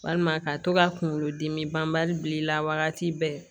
Walima ka to ka kunkolo dimi banbali bi i la wagati bɛɛ